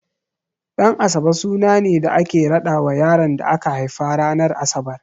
Ɗan'asabe suna ne da ake raɗawa yaron da aka haifa ranar Asabar.